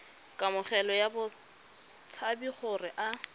kamogelo ya batshabi gore a